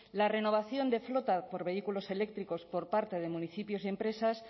la renovación de flotas por vehículos eléctricos por parte de municipios y empresas